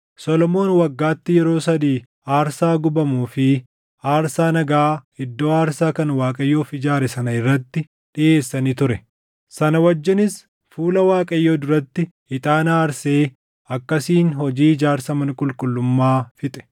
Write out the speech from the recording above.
Solomoon waggaatti yeroo sadii aarsaa gubamuu fi aarsaa nagaa iddoo aarsaa kan Waaqayyoof ijaare sana irratti dhiʼeessa ni ture; sana wajjinis, fuula Waaqayyoo duratti ixaana aarsee akkasiin hojii ijaarsa mana qulqullummaa fixe.